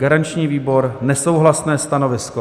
Garanční výbor: nesouhlasné stanovisko.